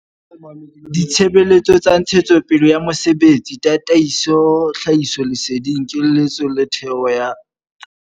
Ditshebeletso tsa ntshetsopele ya mosebetsi tataiso, tlhahisoleseding, keletso le thero ya tsa mesebetsi.